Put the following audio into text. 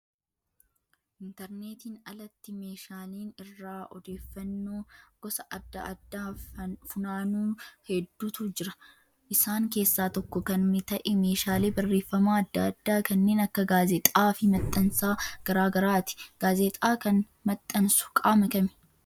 Intarneertiin alatti meeshaaleen irraa odeeffannoo gosa adda addaa funaannu hedduutu jira. Isaan keessaa tokko kan ta'e meeshaalee barreeffamaa adda addaa kanneen akka gaazexaa fi maxxansa garaagaraati. Gaazexaa kan maxxansu qaama kamii?